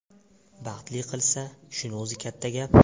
Baxtli qilsa, shuni o‘zi katta gap”.